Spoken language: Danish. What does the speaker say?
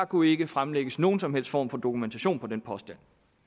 kunne ikke fremlægges nogen som helst form for dokumentation for den påstand